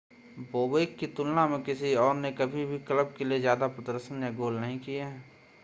Bobek की तुलना में किसी और ने कभी भी क्लब के लिए ज़्यादा प्रदर्शन या ज़्यादा गोल नहीं किए हैं